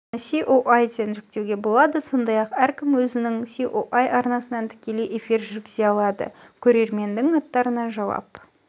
оны ае-тен жүктеуге болады сондай-ақ әркім өзінің ое арнасынан тіклей эфир жүргізе алады көрерменнің аттарына жауап